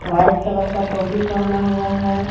White colour का टोपी पहना हुआ है।